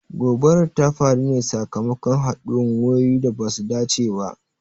Gobarar ta faru ne sakamakon haduwan wayoyi da basu dace ba.